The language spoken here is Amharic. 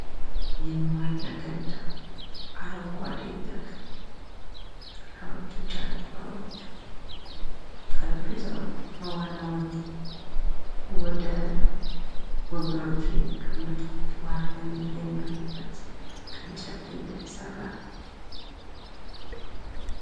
የመዋኛ ገንዳ አረንጓዴ ተክል፣ ጥላዎቹ ፣ ጃንጥላዎቹ ፣ ጠረንጴዛዎቹ ከዋና ወጠው ወደ ወንበሮች የሚቀመጡበት ዋናተኞ የሚያርፉበት ከእንጨት የተሰራ ነው።